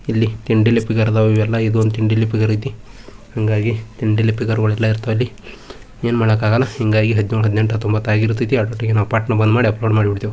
ಇಲ್ಲಿ ಇದು ಒಂದು ಐತಿ ಹಾಂಗಾಗಿ ಎಲ್ಲಾ ಇರತವ್ ಅಲ್ಲಿ ಏನ್ಮಾಡಕ್ ಆಗಲ್ಲ ಹಿಂಗಾಗಿ ಹದ್ನೇಳ್ ಹದ್ನೆಂಟ್ ಹತ್ತೊಂಬತ್ತ್ ಆಗಿರುತೈತಿ ಅದ್ರೊಟ್ಟಿಗ್ ನಾವ್ ಪಟ್ಟ ಬಂದ್ಮಾಡಿ ಅಪ್ಲೋಡ್ ಮಾಡ್ಬಿಡ್ತೀವಿ.